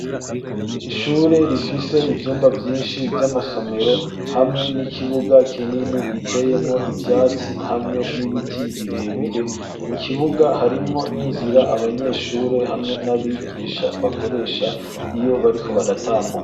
Ishure rifise ivyumba vyinshi vy'amasomero hamwe n'ikibuga kinini giteyemo ivyatsi hamwe n'ibiti birebire, mu kibuga harimwo n'inzira abanyeshure hamwe n'abigisha bakoresha iyo bariko baratambuka.